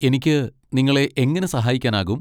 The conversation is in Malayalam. എനിക്ക് നിങ്ങളെ എങ്ങനെ സാഹായിക്കാനാകും?